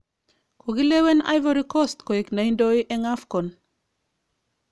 Kokilewen Ivory Cost koiknedoe eng Afcon